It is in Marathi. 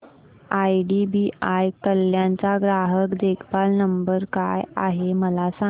आयडीबीआय कल्याण चा ग्राहक देखभाल नंबर काय आहे मला सांगा